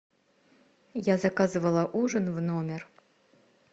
я заказывала ужин в номер